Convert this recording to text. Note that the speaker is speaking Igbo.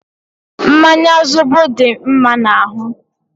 Mmanya zobo dị mma n'ahụ.